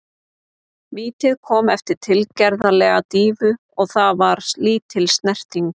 Vítið kom eftir tilgerðarlega dýfu og það var lítil snerting.